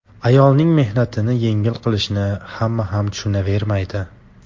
Ayolning mehnatini yengil qilishni hamma ham tushunavermaydi.